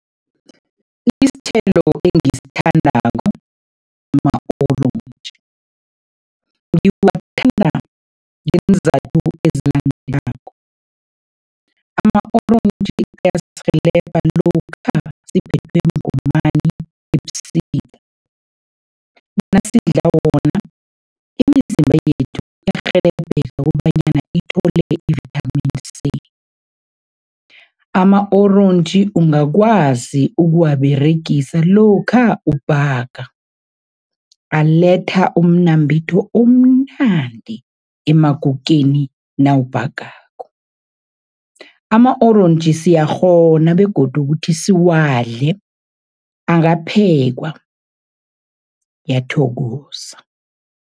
Isithelo engisithandako ma-orentji. Ngiwathanda ngeenzathu ezilandelako, ama-orentji ayasirhelebha lokha siphethwe mgomani ebusika. Nasidla wona, imizimba yethu iyarhelebheka kobanyana ithole i-Vitamin C. Ama-orentji ungakwazi ukuwaberegisa lokha ubhaga, aletha umnambitho omnandi emakukeni nawubhagako. Ama-orentji siyakghona begodu kuthi siwadle, akaphekwa, ngiyathokoza.